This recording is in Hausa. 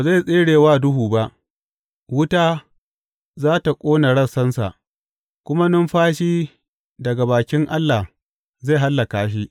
Ba zai tsere wa duhu ba; wuta za tă ƙona rassansa, kuma numfashi daga bakin Allah zai hallaka shi.